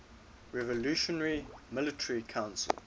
revolutionary military council